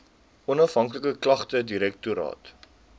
onafhanklike klagtedirektoraat